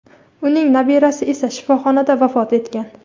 uning nabirasi esa shifoxonada vafot etgan.